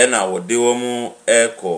Ɛna ɔde wɔn rekɔ. Na mmaa num ne barima baako nso atena aboboyaa no mu. Ɛna ɔde wɔn rekɔ.